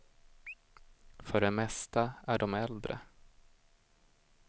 För det mesta är de äldre.